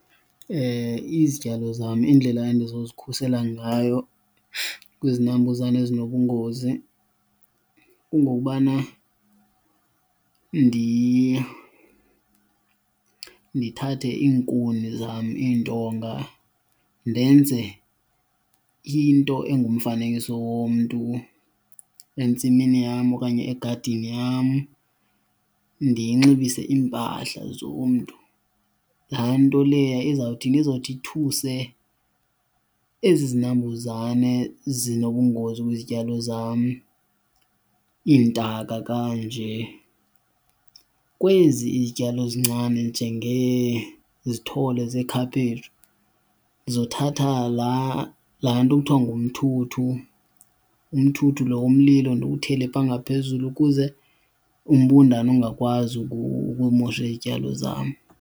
Izityalo zam indlela endizozikhusela ngayo kwizinambuzane ezinobungozi kungokubana ndithathe iinkuni zam, iintonga, ndenze into engumfanekiso womntu entsimini yam okanye egadini yam, ndiyinxibise impahla zomntu. Laa nto leya izawuthini? Izothi ithuse ezi zinambuzane zinobungozi kwizityalo zam, iintaka kanje. Kwezi izityalo zincane njengezithole zekhaphetshu ndizothatha laa laa nto kuthiwa ngumthuthu. Umthuthu lo womlilo ndiwuthele phaa ngaphezulu ukuze umbundane ungakwazi ukumosha izityalo zam.